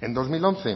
en dos mil once